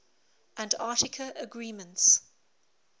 antarctica agreements